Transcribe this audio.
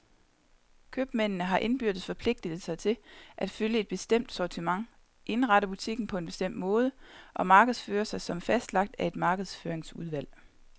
Købmændene har indbyrdes forpligtet sig til at følge et bestemt sortiment, indrette butikken på en bestemt måde og markedsføre sig som fastlagt af et markedsføringsudvalg.